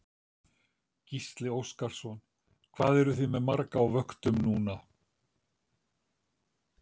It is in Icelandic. Gísli Óskarsson: Hvað eruð þið með marga á vöktum núna?